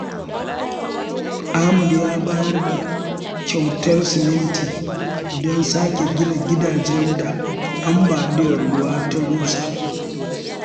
Ahmad ya bayar da kyautar siminti don sake gina gidajen da ambaliyar ruwa ta rusa.